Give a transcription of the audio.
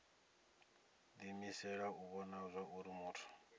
diimisela u vhona zwauri muthu